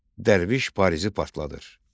Dərviş Parisi partladır.